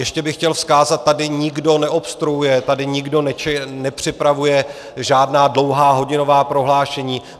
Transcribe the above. Ještě bych chtěl vzkázat - tady nikdo neobstruuje, tady nikdo nepřipravuje žádná dlouhá hodinová prohlášení.